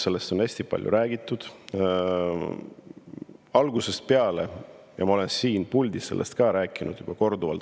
Sellest on hästi palju räägitud algusest peale ja ma olen siin puldis sellest ka rääkinud juba korduvalt.